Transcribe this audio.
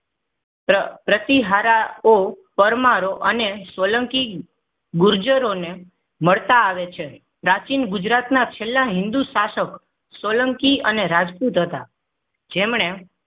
પ્ર પ્રતિહારાઓ પરમારો અને સોલંકી ગુર્જરો ને મળતા આવે છે. પ્રાચીન ગુજરાતના છેલ્લા હિન્દુ શાસક સોલંકી અને રાજપૂત હતા. જેમણે